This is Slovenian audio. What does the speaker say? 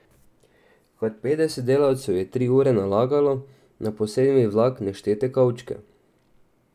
Kar petdeset delavcev je tri ure nalagalo na posebni vlak neštete kovčke.